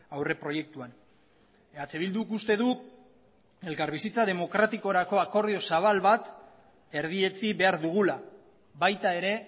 aurreproiektuan eh bilduk uste du elkarbizitza demokratikorako akordio zabal bat erdietsi behar dugula baita ere